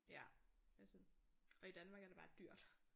Ja det er sådan. Og i Danmark er det bare dyrt